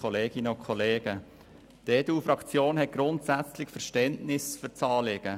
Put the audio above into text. Die EDU-Fraktion hat grundsätzlich Verständnis für dieses Anliegen.